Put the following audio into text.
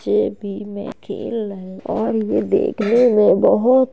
बच्चे भी मैच खेल रहे और ये देखने में बोहोत --